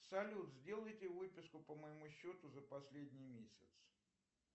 салют сделайте выписку по моему счету за последний месяц